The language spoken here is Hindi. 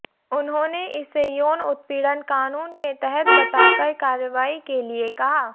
उन्होंने इसे यौन उत्पीड़न कानून के तहत बताकर कार्रवाई के लिए कहा